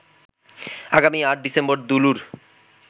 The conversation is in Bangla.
আগামী ৮ ডিসেম্বর দুলুর